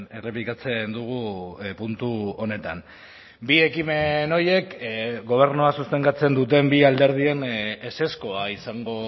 errepikatzen dugu puntu honetan bi ekimen horiek gobernua sostengatzen duten bi alderdien ezezkoa izango